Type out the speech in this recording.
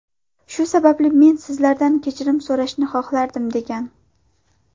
Shu sababli men sizlardan kechirim so‘rashni xohlardim”, degan.